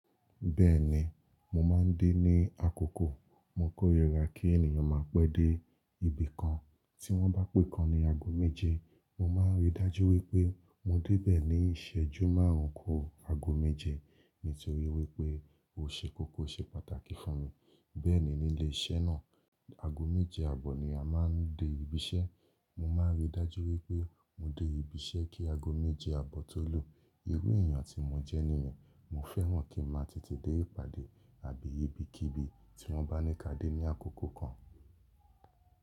Bẹ́ẹ̀ni, mo máa ń dé ní àkóko mo kóríra kí ènìyàn máa pé dé ibì kan. Tí wọ́n bá pé nnkán ní ago méje, mo máa rí dájú wípé mo dé bẹ́ẹ̀ ní ìṣẹ́jú márùn-ún ku ago méje. Nítorí wípé ò ṣe kókó ṣe pàtàkì fún mi. Bẹ́ẹ̀ni nílé iṣẹ́ náà, ago méje àbọ̀ ni a máa ń dé ibi iṣẹ́. Mo máa ń rí dájú wípé mo dé ibi iṣẹ́ kí ago méje àbọ̀ tó lù. Irú èèyàn tí mo jẹ́ nìyẹn, mo fẹ́ràn kí n máa tètè dé ìpàdé àbí ibikíbi tí wọ́n bá ní ká dé ní àkókò kan.